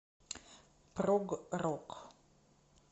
прог рок